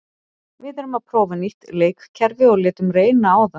Við erum að prófa nýtt leikkerfi og létum reyna á það.